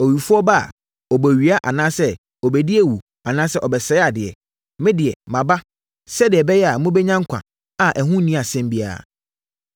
Owifoɔ ba a, ɔbɛwia anaasɛ ɔbɛdi awu anaasɛ ɔbɛsɛe adeɛ. Me deɛ, maba, sɛdeɛ ɛbɛyɛ a mobɛnya nkwa a ɛho nni asɛm biara.